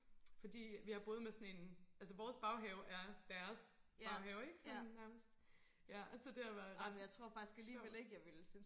fordi jeg boede med sådan en altså vores baghave er deres baghave ikke sådan nærmest ja så det har været ret sjovt